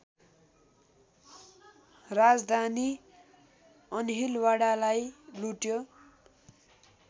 राजधानी अन्हिलवाडालाई लुट्यो